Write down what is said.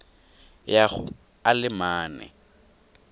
ya go a le mane